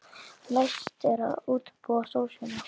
Næst er að útbúa sósuna.